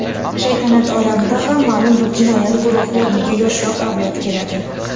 shaytanat olamida ham ma’lum bir jinoyat guruhi o‘rniga yoshroq avlod keladi.